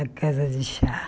A casa de chá.